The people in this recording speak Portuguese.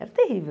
Era terrível.